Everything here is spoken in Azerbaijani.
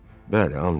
Bəli, and içirəm.